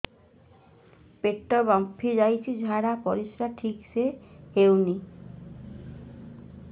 ପେଟ ଫାମ୍ପି ଯାଉଛି ଝାଡ଼ା ପରିସ୍ରା ଠିକ ସେ ହଉନି